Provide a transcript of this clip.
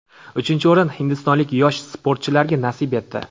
Uchinchi o‘rin hindistonlik yosh sportchilarga nasib etdi.